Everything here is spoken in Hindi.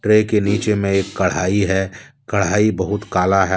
ट्रे के नीचे में एक कढ़ाई हैकढ़ाई बहुत काला है।